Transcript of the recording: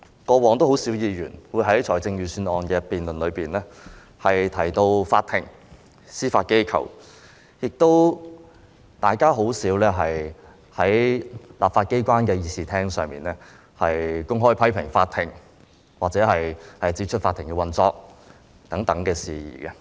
過往，很少議員會在預算案辯論中提到法庭、司法機構，亦很少在立法機關的議事廳上公開批評法庭或談論法庭的運作等事宜。